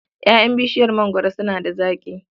Ƴaƴan bishiyar mangwaro suna da zaƙi.